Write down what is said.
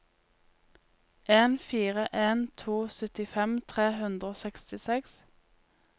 en fire en to syttifem tre hundre og sekstiseks